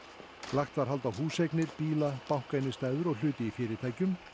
lagt var hald á húseignir bíla bankainnistæður og hluti í fyrirtækjum